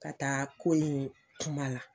Ka taa kunu kuma la.